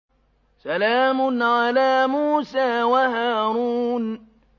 سَلَامٌ عَلَىٰ مُوسَىٰ وَهَارُونَ